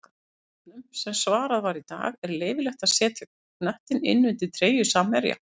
Fyrirspurnum sem var svarað í dag:-Er leyfilegt að setja knöttinn innan undir treyju samherja?